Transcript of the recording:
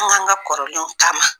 Anw ka kɔrɔlenw taama.